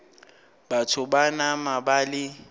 batho ba nama ba le